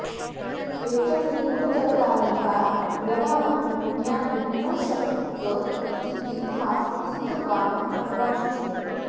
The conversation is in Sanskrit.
एतन्निगूढतरकारणकार्यभावं ज्ञातुं न शक्त इति हा स्थितवान् भवांश्च